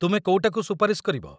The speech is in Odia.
ତୁମେ କୋଉଟାକୁ ସୁପାରିଶ କରିବ?